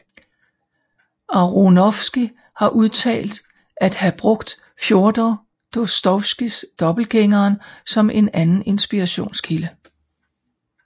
Aronofsky har udtalt at have brugt Fjodor Dostoevskijs Dobbeltgængeren som en anden inspirationskilde